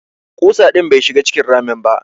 Ƙusa din bai shiga cikin ramin ba.